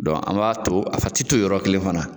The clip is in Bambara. an b'a to, a ti ton yɔrɔ kelen fana.